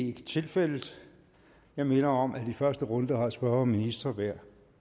ikke tilfældet jeg minder om at i første runde har spørger og minister hver